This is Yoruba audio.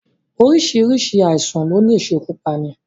Oríṣiríṣi àìsàn ni ó le ṣekú pani